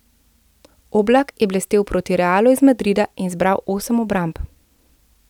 Oblak je blestel proti Realu iz Madrida in zbral osem obramb.